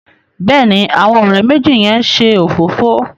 Béèni àwọn òré méjì yén ṣe òfófó.